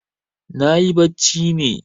Nayi bacci ne.